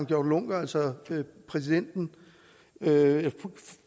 juncker altså præsidenten